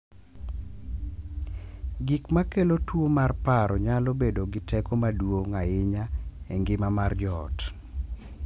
Gik ma kelo tuwo mar paro nyalo bedo gi teko maduong’ ahinya e ngima mar joot,